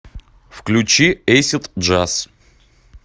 включи эйсид джаз